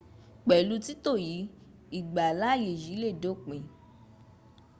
pẹ̀lú títò yìí ìgbàláyè yìí lé dópin